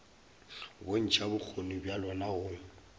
bontšha bokgoni bja lona go